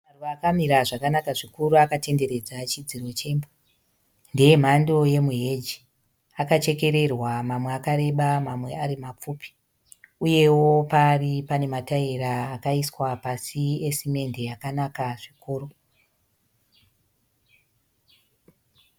Maruva akamira zvakanaka zvikuru akatenderedza chidziro chemba. Ndee mhando yemuheji. Akachekererwa mamwe akareba, mamwe ari mapfupi uyewo paari pane mataera akaiswa pasi esimende akanaka zvikuru.